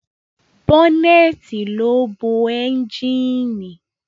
Bọ́nẹ̀ẹ̀tì ló bo ẹ́njíìnì.